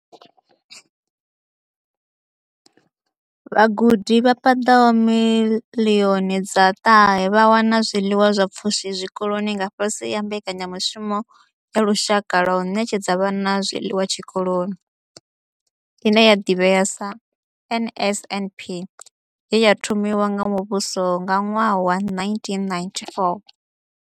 Vhagudi vha paḓaho miḽioni dza ṱahe vha wana zwiḽiwa zwa pfushi zwikoloni nga fhasi ha Mbekanya mushumo ya Lushaka ya u Ṋetshedza Vhana Zwiḽiwa Zwikoloni ine ya divhea sa NSNP ye ya thomiwa nga muvhuso nga ṅwaha wa 1994.